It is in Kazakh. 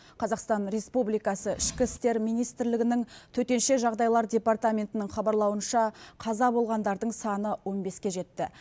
қазақстан республикасы ішкі істер министрлігінің төтенше жағдайлар департаментінің хабарлауынша қаза болғандардың саны он беске жетті